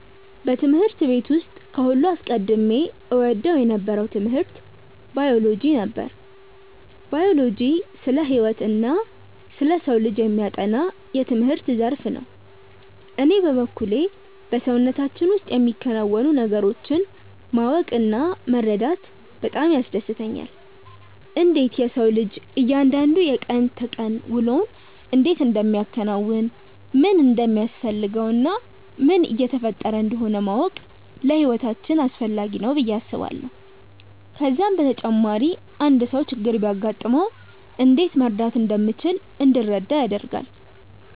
በትምህርት ቤት ውስጥ ከሁሉም አስቀድሜ እወደው የነበረው ትምህርት ባዮሎጂ ነበር። ባዮሎጂ ስለ ህይወትና ስለ ሰው ልጅ የሚያጠና የትምህርት ዘርፍ ነው። እኔ በበኩሌ በሰውነታችን ውስጥ የሚከናወኑ ነገሮችን ማወቅ እና መረዳት በጣም ያስደስተኛል። እንዴት የሰው ልጅ እያንዳንዱ የቀን ተቀን ውሎውን እንዴት እንደሚያከናውን፣ ምን እንደሚያስፈልገው እና ምን እየተፈጠረ እንደሆነ ማወቅ ለህይወታችን አስፈላጊ ነው ብዬ አስባለሁ። ከዛም በተጨማሪ አንድ ሰው ችግር ቢያጋጥመው እንዴት መርዳት እንደምንችል እንድንረዳ ያደርጋል።